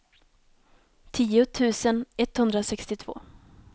tio tusen etthundrasextiotvå